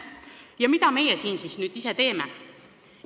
Ja mida me siis nüüd teeme?